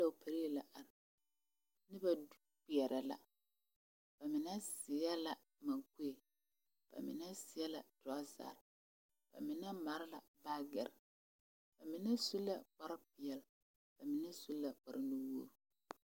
Dɔgele pɛlee la are noba kpeɛrɛ la ba mine seɛ la maŋkue ba mine seɛ la torɔzare ba mine mare la baagere ba mine su la kpar peɛle ba mine su la kpar nu wogi